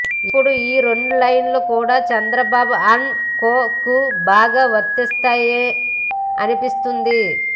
ఇప్పుడు ఈ రెండు లైన్లు కూడా చంద్రబాబు అండ్ కో కు బాగా వర్తిస్తాయి అనిపిస్తుంది